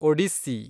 Odissi